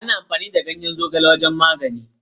Ana amfani da ganyen zogale wajen magani.